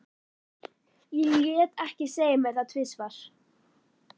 Ég lét ekki segja mér það tvisvar.